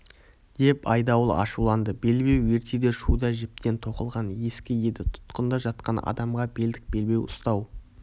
деп айдауыл ашуланды белбеу ертеде шуда жіптен тоқылған ескі еді тұтқында жатқан адамға белдік белбеу ұстау